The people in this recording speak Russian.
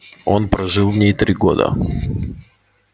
он прожил в ней три года